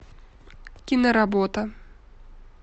киноработа